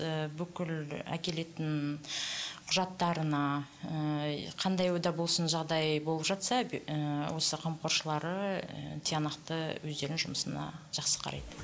ііі бүкіл әкелетін құжаттарына ііі қандай болсын жағдай болып жатса ыыы осы қамқоршылары і тиянақты өздерінің жұмысына жақсы қарайды